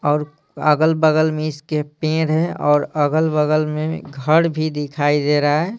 और अगल-बगल में इसके पेड़ है और अगल-बगल में घड़ भी दिखाई दे रहा है।